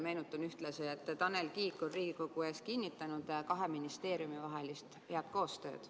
Meenutan ühtlasi, et Tanel Kiik on Riigikogu ees kinnitanud kahe ministeeriumi vahelist head koostööd.